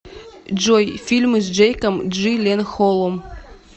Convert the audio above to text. джой фильмы с джейком джиленхолом